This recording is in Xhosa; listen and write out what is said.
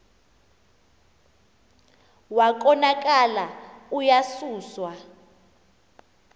wa konakala uyasuswa